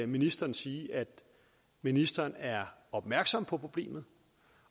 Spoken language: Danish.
ministeren sige at ministeren er opmærksom på problemet